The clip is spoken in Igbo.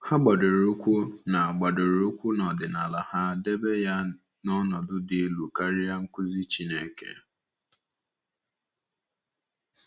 Ha gbadoro ụkwụ na gbadoro ụkwụ na ọdịnala ha, debe ya n’ọnọdụ dị elu karịa nkụzi Chineke.